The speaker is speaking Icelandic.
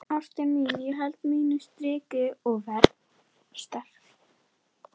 Ástin mín, ég held mínu striki og verð sterk.